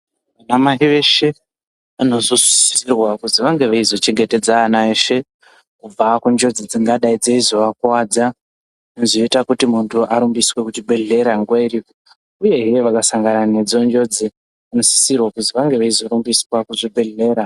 Ana mai veshe vanosisirwa kuzi vange veizo chengetedza ana eshe kubva kunjodzi dzingadai dzeizovakuvadza zvinozoite kuti munhu arumbiswe kuzvibhehleya nguwa iripo, uyehe vakasangana nedzonjozi vanosisirwa kuzi vange veizorumbiswa kuzvibhehleya.